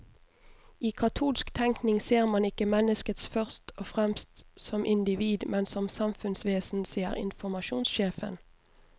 I katolsk tenkning ser man ikke mennesket først og fremst som individ, men som samfunnsvesen, sier informasjonssjefen.